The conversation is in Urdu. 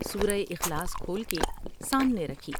سور و اخلاص کھول کے سامنے رکھی ۔